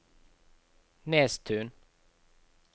Nesttun